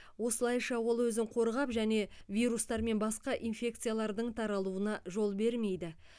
осылайша ол өзін қорғап және вирустар мен басқа инфекциялардың таралуына жол бермейді